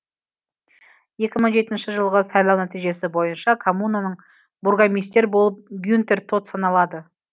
екі мың жетінші жылғы сайлау нәтижесі бойынша коммунаның бургомистер болып гюнтер тот саналады